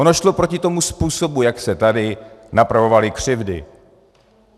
Ono šlo proti tomu způsobu, jak se tady napravovaly křivdy.